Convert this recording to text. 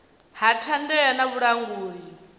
ha thandela na vhulanguli ha